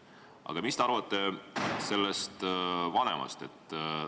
Aga mida te arvate sellest vanemast?